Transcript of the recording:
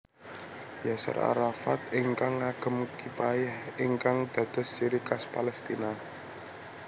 Yaser Arafat ingkang ngagem Kipayeh ingkang dados ciri khas Palestina